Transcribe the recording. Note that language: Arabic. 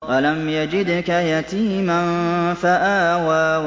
أَلَمْ يَجِدْكَ يَتِيمًا فَآوَىٰ